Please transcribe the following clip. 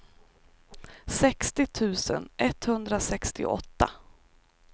sextio tusen etthundrasextioåtta